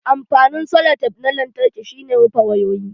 Amfanin selotef na lantarki shi ne rufe wayoyi.